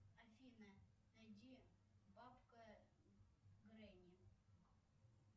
афина найди бабка гренни